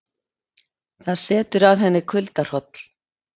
Það setur að henni kuldahroll.